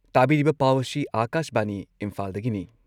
ꯇꯥꯕꯤꯔꯤꯕ ꯄꯥꯎ ꯑꯁꯤ ꯑꯥꯀꯥꯁꯕꯥꯅꯤ ꯏꯝꯐꯥꯜꯗꯒꯤꯅꯤ